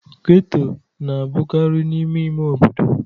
Geto na-abụkarị n'ime ime obodo.